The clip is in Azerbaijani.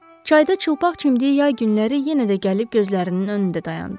Çayda çılpaq çimdiyi yay günləri yenə də gəlib gözlərinin önündə dayandı.